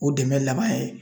O dɛmɛ laban ye